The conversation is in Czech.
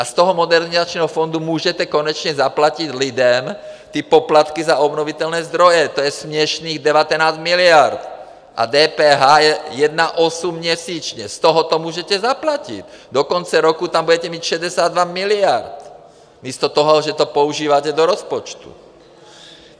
A z toho Modernizačního fondu můžete konečně zaplatit lidem ty poplatky za obnovitelné zdroje, to je směšných 19 miliard a DPH je 1,8 měsíčně, z toho to můžete zaplatit, do konce roku tam budete mít 62 miliard, místo toho, že to používáte do rozpočtu.